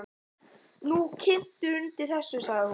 Þú kyntir undir þessu, sagði hún.